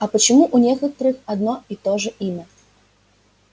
а почему у некоторых одно и то же имя